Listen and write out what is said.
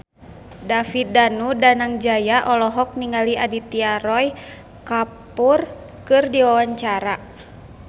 David Danu Danangjaya olohok ningali Aditya Roy Kapoor keur diwawancara